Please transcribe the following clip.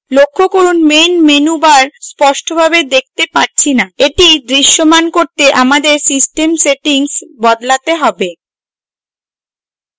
লক্ষ্য করুন main menu bar স্পষ্টভাবে দেখতে পারছি না এটি দৃশ্যমান করতে আমাদের system settings বদলাতে have